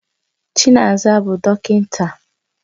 Chinaza bụ dọkịta